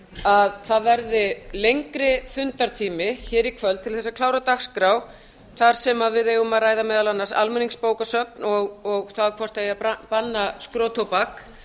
að það verði lengri fundartími í kvöld til að klára dagskrá þar sem við eigum að ræða meðal annars almenningsbókasöfn og það hvort banna eigi skrotóbak